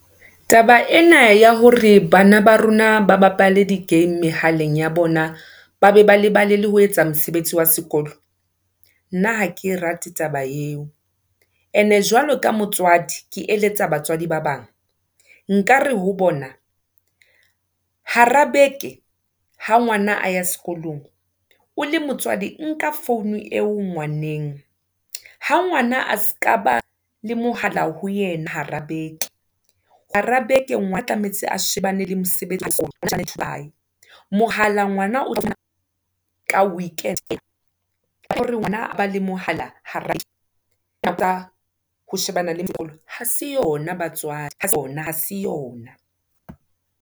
Taba ena ya hore, bana ba rona ba bapale di game mehaleng ya bona, ba be lebale le ho etsa mosebetsi wa sekolo. Nna ha ke rate taba eo, ene jwalo ka motswadi, ke eletsa batswadi ba bang, nkare ho bona, hara beke, ha ngwana a ya sekolong, o le motswadi nka phone eo ngwaneng, ha ngwana a seka ba le mohala ho yena hara beke. Hara beke tlametse a shebane le mosebetsi wa hae. Mohala, ngwana otla ka weekend hore ngoana aba le mohala, hara ho shebana le , ha se yona batswadi, ha ha se yona.